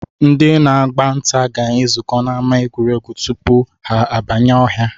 Ndị na-agba nta ga-ezukọ n'ama egwuregwu tupu ha abanye ọhịa